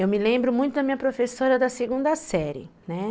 Eu me lembro muito da minha professora da segunda série, né?